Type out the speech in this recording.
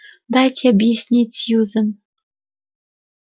дайте объяснить сьюзен